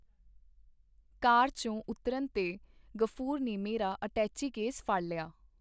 ਕਾਰ ਚੋਂ ਉਤਰਨ ਤੇ ਗ਼ਫੂਰ ਨੇ ਮੇਰਾ ਅਟੈਚੀਕੇਸ ਫੜ ਲਿਆ.